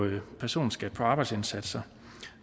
lavere personskat på arbejdsindsatser